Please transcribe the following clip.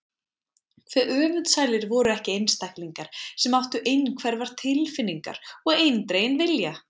Hve öfundsælir voru ekki einstaklingar sem áttu einhverfar tilfinningar og eindreginn vilja!